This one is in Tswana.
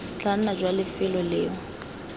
tla nna jwa lefelo leo